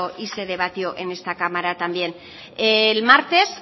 y se debatió en esta cámara también el martes